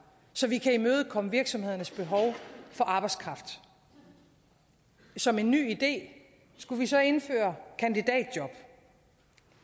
så vi kan imødekomme virksomhedernes behov for arbejdskraft som en ny idé skulle vi så indføre kandidatjob